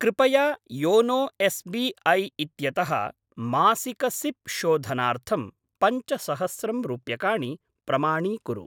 कृपया YONO S B I इत्यतः मासिक सिप् शोधनार्थं पञ्चसहस्रं रूप्यकाणि प्रमाणीकुरु।